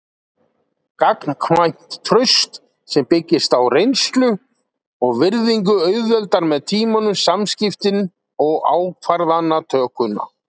Gagnkvæmt traust sem byggist á reynslu og virðingu auðveldar með tímanum samskiptin og ákvarðanatökuna.